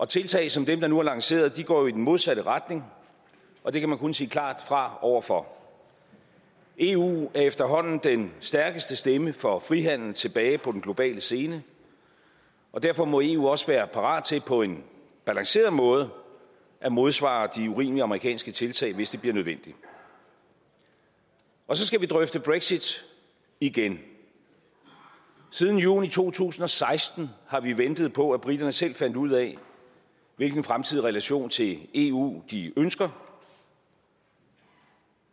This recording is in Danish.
tiltag som dem der nu er lanceret går jo i den modsatte retning og det kan man kun sige klart fra over for eu er efterhånden den stærkeste stemme for frihandel tilbage på den globale scene og derfor må eu også være parat til på en balanceret måde at modsvare de urimelige amerikanske tilstag hvis det bliver nødvendigt så skal vi drøfte brexit igen siden juni to tusind og seksten har vi ventet på at briterne selv fandt ud af hvilken fremtidig relation til eu de ønsker